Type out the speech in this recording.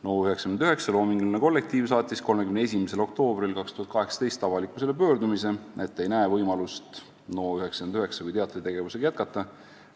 " NO99 loominguline kollektiiv saatis 31. oktoobril 2018 avalikkusele pöördumise, et ei näe võimalust NO99 teatritegevusega jätkata.